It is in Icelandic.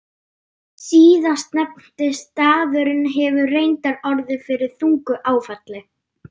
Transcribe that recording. Síðastnefndi staðurinn hefur reyndar orðið fyrir þungu áfalli.